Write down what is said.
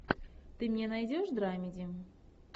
ты мне найдешь драмеди